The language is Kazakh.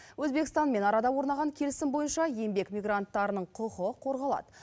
өзбекстанмен арада орнаған келісім бойынша еңбек мигранттарының құқы қорғалады